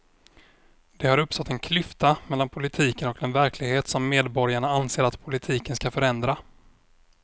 Det har uppstått en klyfta mellan politiken och den verklighet som medborgarna anser att politiken ska förändra.